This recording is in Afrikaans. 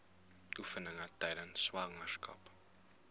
oefeninge tydens swangerskap